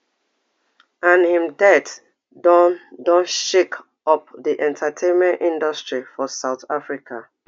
and im death don don shake up di entertainment industry for south africa